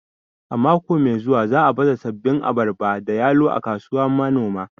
A mako mai zuwa za'a baza sabbin abarba da yalo a kasuwar manoma